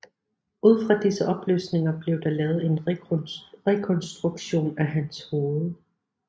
Ud fra disse oplysninger blev der lavet en rekonstruktion af hans hoved